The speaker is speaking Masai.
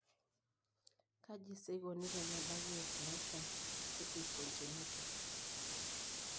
Kaji sa eikoni tenebaki eaplasia cutis congenita?